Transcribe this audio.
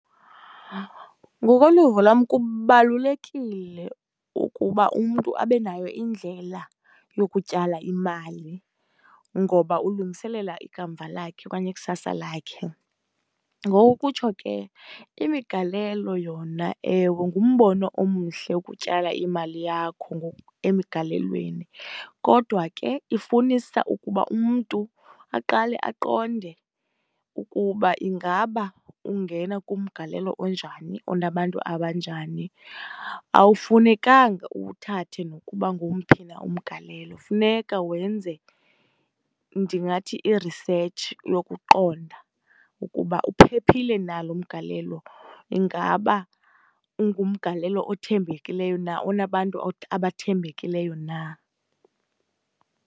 Ngokoluvo lwam, kubalulekile ukuba umntu abe nayo indlela yokutyala imali ngoba ulungiselela ikamva lakhe okanye ikusasa lakhe. Ngoko kutsho ke imigalelo yona, ewe, ngumbono omhle wokutyala imali yakho emigalelweni. Kodwa ke ifunisa ukuba umntu aqale aqonde ukuba ingaba ungena kumgalelo onjani, onabantu abanjani. Awufunekanga uthathe nokuba ngowuphi na umgalelo, kufuneka wenze, ndingathi i-research yokuqonda ukuba uphephile na lo mgalelo. Ingaba ungumgalelo othembekileyo na, onabantu abathembekileyo na?